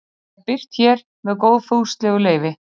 Það er birt hér með góðfúslegu leyfi.